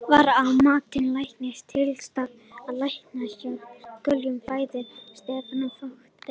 Var að mati læknaráðs tilhlýðilega staðið að læknishjálp í kjölfar fæðingar stefnanda á vökudeild?